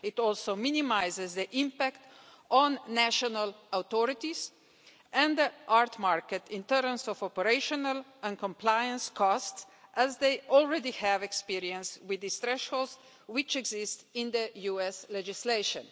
It also minimises the impact on national authorities and the art market in terms of operational and compliance costs as they already have experience with these thresholds, which exist in US legislation.